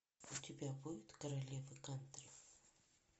у тебя будет королева кантри